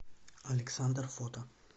александр фото